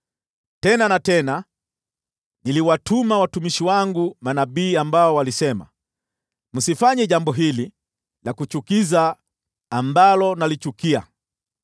Tena na tena, niliwatuma watumishi wangu manabii ambao walisema, ‘Msifanye jambo hili la kuchukiza ambalo nalichukia!’